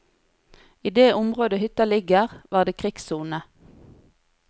I det området hytta ligger, var det krigssone.